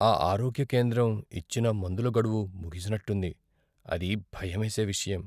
ఆ ఆరోగ్య కేంద్రం ఇచ్చిన మందుల గడువు ముగిసినట్టుంది, అది భయమేసే విషయం.